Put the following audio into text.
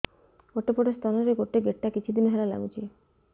ଗୋଟେ ପଟ ସ୍ତନ ରେ ଗୋଟେ ଗେଟା କିଛି ଦିନ ହେଲା ଲାଗୁଛି